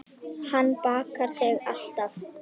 Hann bakar þig alltaf.